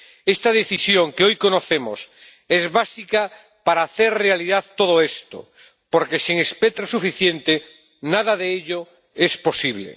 Esta decisión que hoy conocemos es básica para hacer realidad todo esto, porque, sin espectro suficiente, nada de ello es posible.